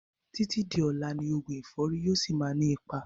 Títí di ọlá ni oògùn ẹ̀fọ́rì yìí ó síí má ni ipa